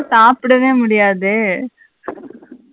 சாப்புடவே முடியாது.